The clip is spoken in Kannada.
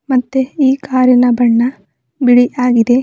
ಮತ್ತೆ ಈ ಕಾರಿನ ಬಣ್ಣ ಬಿಳಿಯಾಗಿದೆ.